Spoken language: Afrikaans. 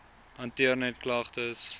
hanteer net klagtes